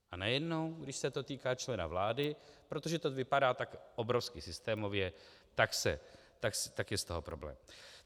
A najednou, když se to týká člena vlády, protože to vypadá tak obrovsky systémově, tak je z toho problém.